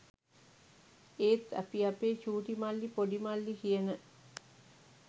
ඒත් අපි අපේ චූටිමල්ලි ‍පොඩිමල්ලි කියන